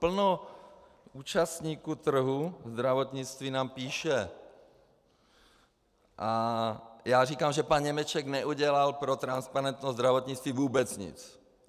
Plno účastníků trhu zdravotnictví nám píše a já říkám, že pan Němeček neudělal pro transparentnost zdravotnictví vůbec nic.